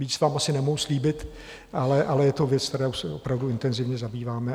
Víc vám asi nemohu slíbit, ale je to věc, kterou se opravdu intenzivně zabýváme.